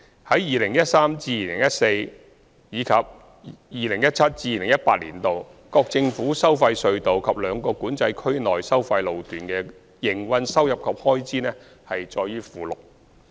在 2013-2014 年度至 2017-2018 年度，各政府收費隧道及兩個管制區內收費路段的營運收入及開支載於附件。